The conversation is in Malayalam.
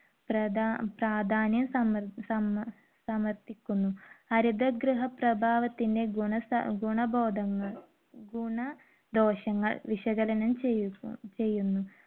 പ്രധാ~പ്രാധാന്യം . ഹരിത ഗൃഹ പ്രഭാവത്തിന് ഗുണ~ഗുണബോധങ്ങൾ ~ ഗുണ ദോഷങ്ങൾ വിശകലനം ചെയ്യുന്നു.